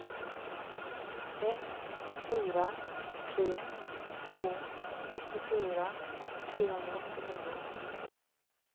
ett fyra tre två nittiofyra trehundraåttionio